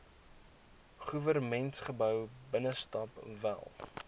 goewermentsgebou binnestap wel